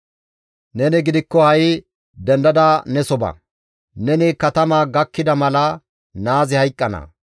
«Neni gidikko ha7i dendada neso ba. Neni katama gakkida mala naazi hayqqana.